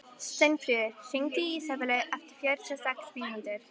Steinfríður, hringdu í Ísabellu eftir fjörutíu og sex mínútur.